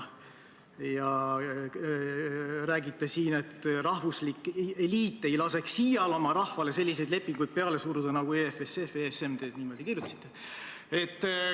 Rääkisite siin, et rahvuslik liit ei laseks iial oma rahvale selliseid lepinguid peale suruda nagu EFSF ja ESM – niimoodi kirjutasite.